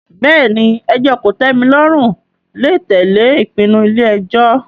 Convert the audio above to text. Bẹ́ẹ̀ ni, ẹjọ́ kòtẹ́milọ́rùn lè tẹ̀lé ìpinnu ilé ẹjọ́